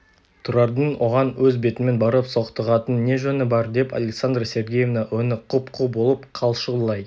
тұрардың оған өз бетімен барып соқтығатын не жөні бар деп александра сергеевна өңі құп-қу болып қалшылдай